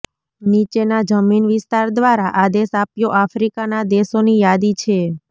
નીચેના જમીન વિસ્તાર દ્વારા આદેશ આપ્યો આફ્રિકાના દેશોની યાદી છે